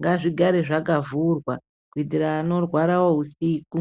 ngazvigare zvakavhurwa kuitira vanorwara wo usiku.